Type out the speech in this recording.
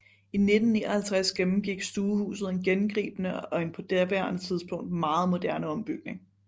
I 1959 gennemgik stuehuset en gennemgribende og en på daværende tidspunkt meget moderne ombygning